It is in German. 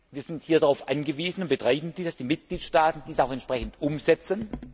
Wir sind hier darauf angewiesen und betreiben dies, dass die Mitgliedstaaten dies auch entsprechend umsetzen.